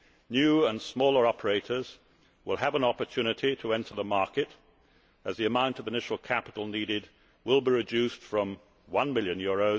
New and smaller operators will have an opportunity to enter the market, as the amount of initial capital needed will be reduced from EUR 1 million to EUR